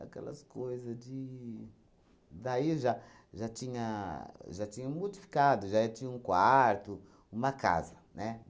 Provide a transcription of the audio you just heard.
coisas de... Daí já já tinha... já tinha modificado, já é tinha um quarto, uma casa, né?